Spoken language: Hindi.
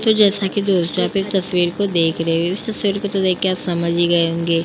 जैसा कि दोस्तों आप इस तस्वीर को देख रहे हैं। इस तस्वीर को तो देखके आप समझ गए होंगे --